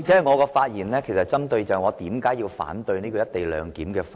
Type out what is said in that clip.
我的發言其實針對我反對《條例草案》的原因。